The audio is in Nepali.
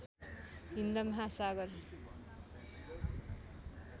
हिन्द महासागर